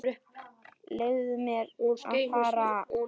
Leyfðu mér að fara.